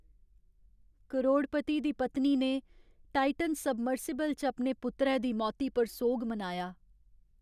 करोड़पती दी पत्नी ने टाइटन सबमर्सिबल च अपने पुत्तरै दी मौती पर सोग मनाया।